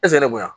ne bonya